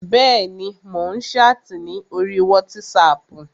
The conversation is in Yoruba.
Bẹ́ẹ̀ni, mò ń ṣáàtì ní orí wátísapù